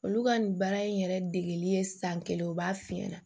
Olu ka nin baara in yɛrɛ degeli ye san kelen u b'a f'i ɲɛna